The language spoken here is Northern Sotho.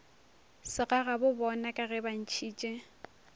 segagabobona ka ge ba ntšhitše